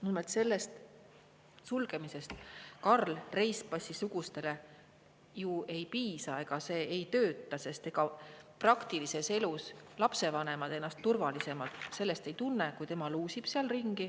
Nimelt, selle sulgemisest Karl Reispassi sugustele ju ei piisa, see ei tööta, sest ega praktilises elus lapsevanemad ennast sellest turvalisemalt ei tunne, kui tema luusib seal ringi.